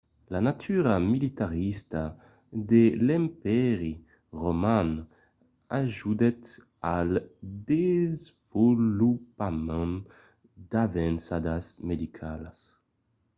la natura militarista de l'empèri roman ajudèt al desvolopament d'avançadas medicalas